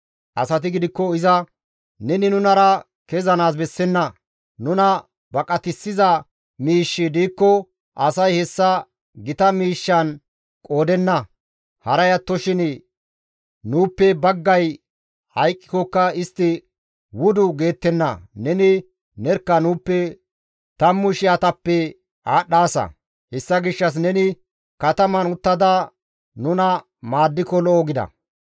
Asati gidikko iza, «Neni nunara kezanaas bessenna; nuna baqatissiza miishshi diikko asay hessa gita miishshan qoodenna; haray attoshin nuuppe baggay hayqqikokka istti wudu geettenna; neni nerkka nuuppe tammu shiyatappe aadhdhaasa; hessa gishshas neni kataman uttada nuna maaddiko lo7o» gida.